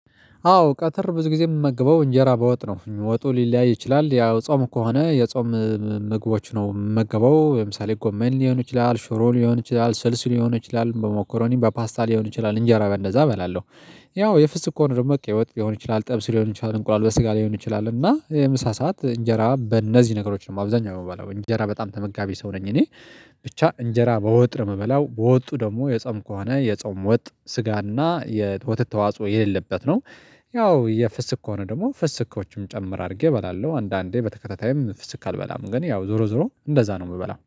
አዎ ቀትር ብዙ ጊዜ የምመግበው እንጀራ በወጥ ነው ወጡ ሊለያይ ይችላል ያው ጾም ከሆነ የጾም ምግቦች ነው የምገባው ለምሳሌ ጎመን ሊሆን ይችላል ሽሮ ሊሆን ይችላል ስልስ ሊሆን ይችላል ሞኮረኒ በ በፓስታ ሊሆን ይችላል እንጀራ በእንደዛ እበላለሁ። ያው የፍስግ ከሆነ ደግሞ ቀይወጥ ሊሆን ይችላል ጥብስ ሊሆን ይችላል እንቁላል በስጋ ሊሆን ይችላል እና የምሳ ሰዓት እንጀራ በእነዚህ ነገሮች ነው አብዛኛው የምባለው እንጀራ በጣም ተመጋቢ ሰው ነኝ። እኔ ብቻ እንጀራ በወጥ ምበላው ወጡ ደግሞ የጾም ከሆነ የጾም ወጥ ስጋና የወተት ተዋጽኦ የሌለበት ነው። ያው የፍስክ ከሆነ ደግሞ ፍስክዎችም ጨምር አድርጌ እበላለሁ አንዳንዴ በተከታታይም ፍስክ አልበላም ግን ያው ዞሮ ዞሮ እንደዛ ነው የምበላው